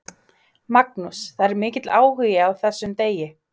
Magnús: Það er mikill áhugi á þessum degi?